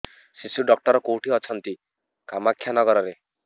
ଶିଶୁ ଡକ୍ଟର କୋଉଠି ଅଛନ୍ତି କାମାକ୍ଷାନଗରରେ